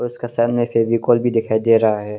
इसका साइड में फेविकोल भी दिखाई दे रहा है।